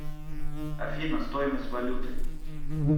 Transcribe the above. афина стоимость валюты